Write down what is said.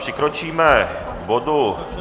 Přikročíme k bodu